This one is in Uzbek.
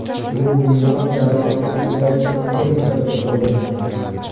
Bu bemor jarrohlik operatsiyasiga muhtoj bo‘lmagan.